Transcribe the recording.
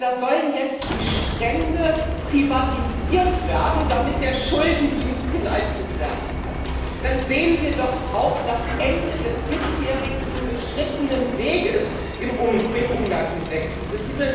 Da sollen jetzt die Strände privatisiert werden, damit der Schuldendienst geleistet werden kann. Dann sehen wir doch auch das Ende des bisher beschrittenen Weges im Umgang mit der Krise.